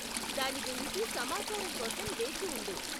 దాని గురించి సమాచారం కోసం వేచి ఉండు.